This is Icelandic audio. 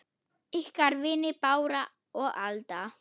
Ykkar vinir Bára og Alda.